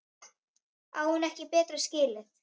Á hún ekki betra skilið?